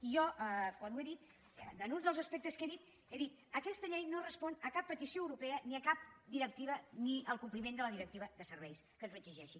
i jo quan ho he dit en un dels aspectes que he dit he dit aquesta llei no respon a cap petició europea ni a cap directiva ni al compliment de la directiva de serveis que ens ho exigeixi